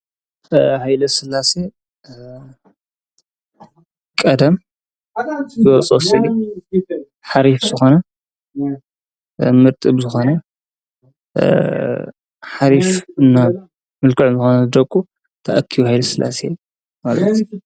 ይለ ሥላ ሰ ቀደም ወፁስ ሓሪፍ ዘኾነ ምርጥ ብ ዘኾነ ሓሪፍ እና ምልክዕም ዘኾነ ዘደቁ ተኣኪዩ ሂይለ ስላሴ እዩ።